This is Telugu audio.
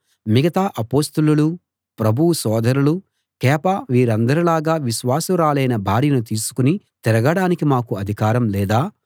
మిగతా అపొస్తలులు ప్రభువు సోదరులు కేఫా వీరందరిలాగా విశ్వాసురాలైన భార్యను తీసుకుని తిరగడానికి మాకు అధికారం లేదా